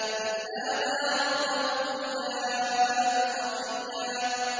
إِذْ نَادَىٰ رَبَّهُ نِدَاءً خَفِيًّا